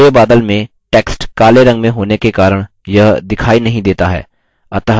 gray बादल में text काले रंग में होने के काऱण यह दिखाई नहीं देता है